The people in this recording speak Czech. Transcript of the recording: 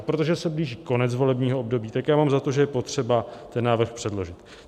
A protože se blíží konec volebního období, tak já mám za to, že je potřeba ten návrh předložit.